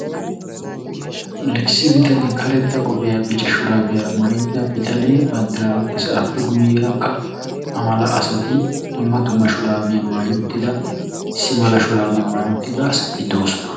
Issi bitane karetta qophphiya bicca shuraabiyara mayida bitane banddiraa oyqqiis appe guyeerakka a mala asati dumma dumma shuraabiya mayi uttida issi mala shuraabiya mayi uttida asati de"oosona.